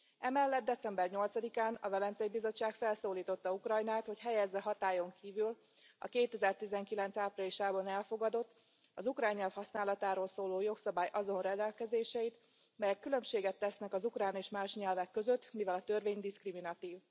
Emellett, december 8 án a Velencei Bizottság felszólította Ukrajnát, hogy helyezze hatályon kívül a 2019. áprilisában elfogadott, az ukrán nyelv használatáról szóló jogszabály azon rendelkezéseit, melyek különbséget tesznek az ukrán és más nyelvek között, mivel a törvény diszkriminatív.